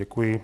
Děkuji.